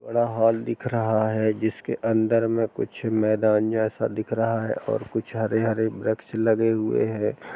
बड़ा हॉल दिख रहा है जिसके अंदर में कुछ मैदान जैसा दिख रहा है और कुछ हरे हरे वृक्ष लगे हुए हैं।